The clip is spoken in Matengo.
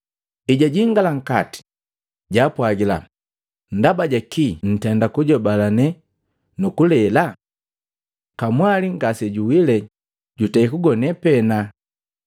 Ejajingala nkati, jaapwagila, “Ndaba jakii nntenda kujobalane nu kulela? Kamwali ngasijuwile jutei kugone pena.”